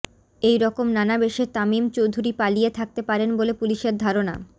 এই রকম নানা বেশে তামিম চৌধুরী পালিয়ে থাকতে পারেন বলে পুলিশের ধারণা